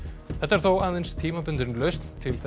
þetta er þó aðeins tímabundin lausn til